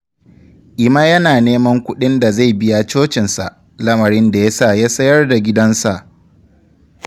Emma yana neman kuɗin da zai biya cocinsa, lamarin da ya sa ya sayar da gidansa.